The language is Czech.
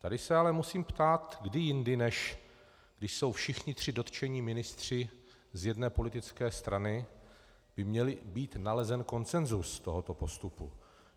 Tady se ale musím ptát, kdy jindy, než když jsou všichni tři dotčení ministři z jedné politické strany, by měl být nalezen konsenzus tohoto postupu.